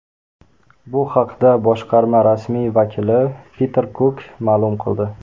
Bu haqda boshqarma rasmiy vakili Piter Kuk ma’lum qildi.